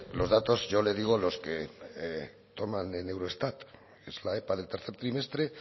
los datos yo le digo los que toman en eurostat es la epa del tercer trimestre